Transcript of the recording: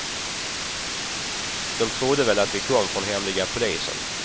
De trodde väl att vi kom från hemliga polisen.